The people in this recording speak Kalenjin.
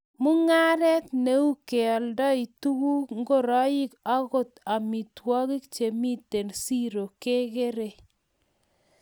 mungaret neu keoldoi tuguk, ngoroik agot maitwogik chemiten siro kegeerei